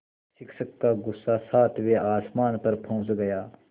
शिक्षक का गुस्सा सातवें आसमान पर पहुँच गया